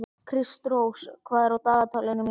Kristrós, hvað er á dagatalinu mínu í dag?